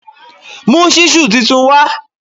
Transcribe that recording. Mú ṣísù tuntun wá